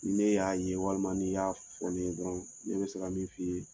N'e y'a ye walima n'i y'a fɔ ne ye dɔrɔn ne bɛ se ka min f'i ye